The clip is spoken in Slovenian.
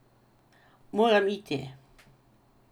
Moram iti!